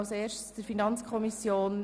– Das ist der Fall.